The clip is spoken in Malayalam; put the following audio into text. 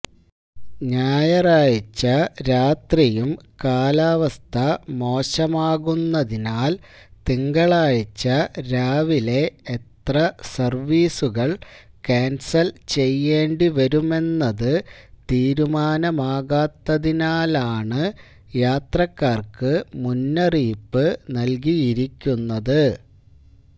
ഞായറാഴ്ച രാത്രിയും കാലാവസ്ഥ മോശമാകുമെന്നതിനാല് തിങ്കളാഴ്ച രാവിലെ എത്ര സര്വ്വീസുകള് കാന്സല് ചെയ്യേണ്ടിവരുമെന്നത് തീരുമാനമാകാത്തതിനാലാണ് യാത്രക്കാര്ക്ക് മുന്നറിയിപ്പ് നല്കിയിരിക്കുന്നത്